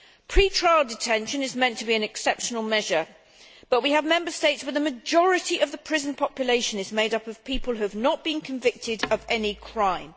Pre trial detention is meant to be an exceptional measure, but we have Member States where the majority of the prison population is made up of people who have not been convicted of any crime.